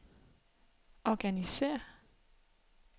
organisér